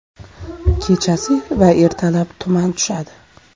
Kechasi va ertalab tuman tushadi.